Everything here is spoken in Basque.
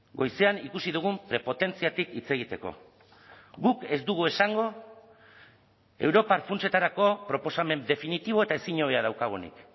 goizean ikusi dugun prepotentziatik hitz egiteko guk ez dugu esango europar funtsetarako proposamen definitibo eta ezin hobea daukagunik